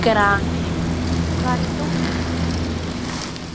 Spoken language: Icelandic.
Grani, hvar er dótið mitt?